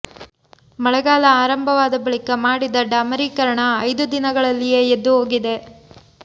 ಮಳೆಗಾಲ ಆರಂಭವಾದ ಬಳಿಕ ಮಾಡಿದ ಡಾಮರೀಕರಣ ಐದು ದಿನಗಳಲ್ಲಿಯೇ ಎದ್ದು ಹೋಗಿದೆ